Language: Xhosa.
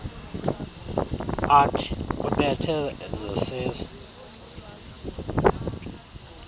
art ubethe zesize